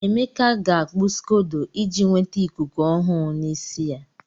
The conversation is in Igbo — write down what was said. Emeka ga-akpu scodo iji nweta ikuku ọhụrụ n'isi ya.